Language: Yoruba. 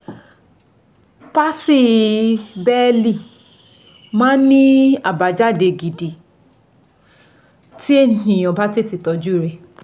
Palsy bẹ́ẹ̀lì máa ń ní àbájáde gidi tí èèyàn bá tètè tọ́jú u rẹ̀